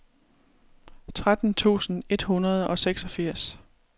tretten tusind et hundrede og seksogfirs